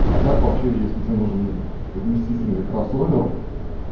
а так вообще если тебе нужен вместительный кроссовер